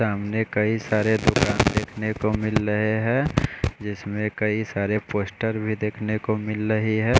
सामने कई सारे दुकान देखने को मिल रहे है जिसमे कई सारे पोस्टर भी देखने को मिल रहे है।